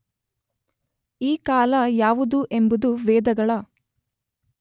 ಈ ಕಾಲ ಯಾವುದು ಎಂಬುದು ವೇದಗಳ